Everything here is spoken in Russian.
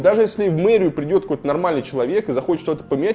даже если в мэрию придёт какой-то нормальный человек и захочет что-то поменять